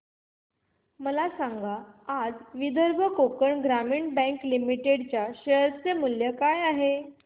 मला सांगा आज विदर्भ कोकण ग्रामीण बँक लिमिटेड च्या शेअर चे मूल्य काय आहे